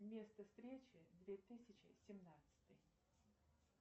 место встречи две тысячи семнадцатый